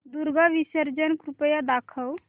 दुर्गा विसर्जन कृपया दाखव